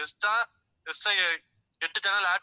extra, extra எட்டு channel add